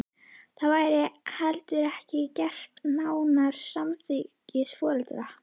Það væri heldur ekki gert án samþykkis foreldra.